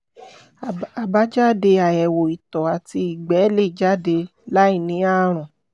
àbájáde àyẹ̀wò ìtọ̀ àti ìgbẹ́ lè jáde láì ní ààrùn